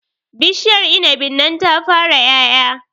Bishiar inibin nan ta fara ƴaƴa